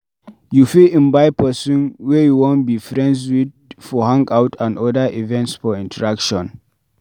You fit invite person wey you wan be friends with for hangout and oda events for interaction